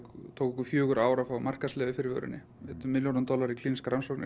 tók okkur fjögur ár að fá markaðsleyfi fyrir vörunni eyddum milljónum dollara í klínískar rannsóknir